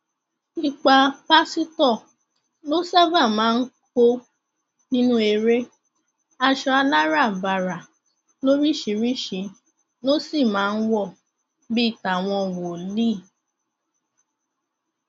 ipa pásítọ ló ṣáàbà máa ń kó nínú eré aṣọ aláràbarà lóríṣìíríṣìí ló sì máa ń wọ bíi tàwọn wòlíì